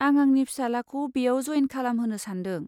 आं आंनि फिसालाखौ बेयाव जयेन खालामहोनो सानदों।